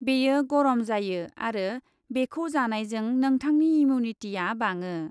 बेयो गरम जायो आरो बेखौ जानायजों नोंथांनि इम्युनिटीआ बाङो।